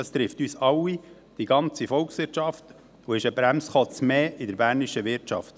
Dies trifft uns alle – die ganze Volkswirtschaft – und ist ein Bremsklotz mehr für die bernische Wirtschaft.